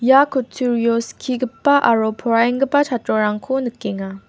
ia kutturio skigipa aro poraienggipa chatrorangko nikenga.